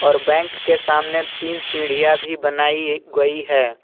तो बैंक के सामने तीन सीढ़ियां भी बनाई गई है।